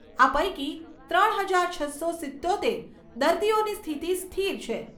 આ પૈકી ત્રણ હજાર છસો સિત્તોતેર દર્દીઓની સ્થિતિ સ્થિર છે.